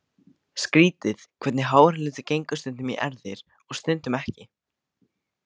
Skrýtið hvernig háralitur gengur stundum í erfðir og stundum ekki.